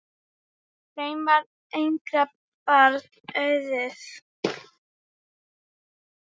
Þeim varð engra barna auðið.